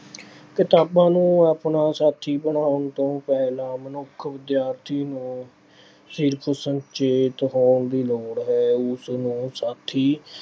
ਕਿਤਾਬਾਂ ਨੂੰ ਆਪਣਾ ਸਾਥੀ ਬਣਾਉਣ ਤੋਂ ਪਹਿਲਾਂ ਮਨੁੱਖ ਵਿਦਿਆਰਥੀ ਨੂੰ ਸਿਰਫ਼ ਸੁਚੇਤ ਹੋਣ ਦੀ ਲੋੜ ਹੈ। ਉਸ ਨੂੰ ਸਾਥੀ